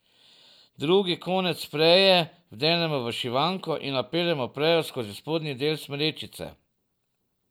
Drugi konec preje vdenemo v šivanko in napeljemo prejo skozi spodnji del smrečice.